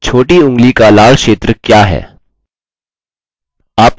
आपका अंदाजा सही है आपको a टाइप करने के लिए उस ऊँगली का उपयोग करना है